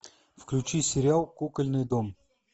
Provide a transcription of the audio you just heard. включи сериал кукольный дом